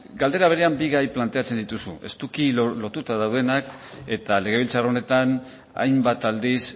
galdera berean bi gai planteatzen dituzu estuki lotuta daudenak eta legebiltzar honetan hainbat aldiz